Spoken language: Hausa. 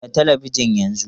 Kunna talabijin yanzu!